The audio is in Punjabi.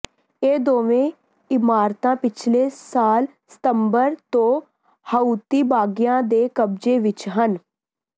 ਇਹ ਦੋਵੇਂ ਇਮਾਰਤਾਂ ਪਿਛਲੇ ਸਾਲ ਸਤੰਬਰ ਤੋਂ ਹਾਊਤੀ ਬਾਗੀਆਂ ਦੇ ਕਬਜ਼ੇ ਵਿੱਚ ਹਨ